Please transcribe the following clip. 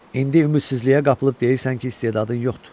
İndi ümidsizliyə qapılıb deyirsən ki, istedadın yoxdur.